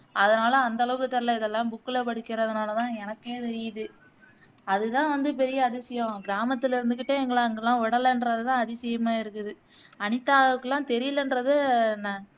அதனால அந்த அளவுக்கு தெரியல இதெல்லாம் book ல படிக்கிறதுனால தான் எனக்கே தெரியுது அதுதான் வந்து பெரிய அதிசயம் கிரமத்துல இருந்துக்கிட்டே எங்கள அங்கேயெல்லாம் விடலன்றதுதான் அதிசயமா இருக்குது அனிதாவுக்குலாம் தெரியலன்றது ந